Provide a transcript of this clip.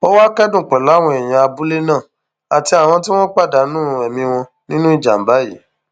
ó wàá kẹdùn pẹlú àwọn èèyàn abúlé náà àti àwọn tí wọn pàdánù ẹmí wọn nínú ìjàmbá yìí